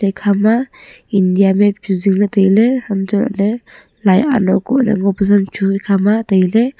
ekha ma india map chu zing ley tai ley han toh lah ley lai ano ko ley ngo pe zam chu ekha ma tai ley.